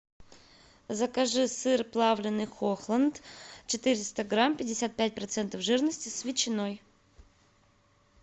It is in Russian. закажи сыр плавленный хохланд четыреста грамм пятьдесят пять процентов жирности с ветчиной